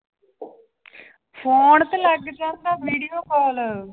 Phone ਤੇ ਲੱਗ ਜਾਂਦਾ video call